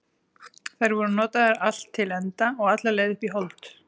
Þær voru notaðar allt til enda og alla leið upp í hold.